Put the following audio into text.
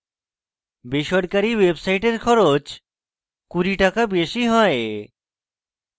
বেসরকারী websites খরচ 20 টাকা বেশী হয়